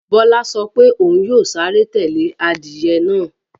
Bọ́lá sọ pé òun yóò sáré tẹ́lẹ̀ adìyẹ náà